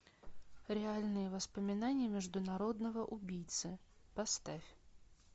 реальные воспоминания международного убийцы поставь